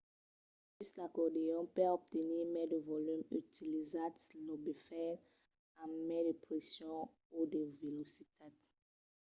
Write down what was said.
sus l'acordeon per obtenir mai de volum utilitzatz los bofets amb mai de pression o de velocitat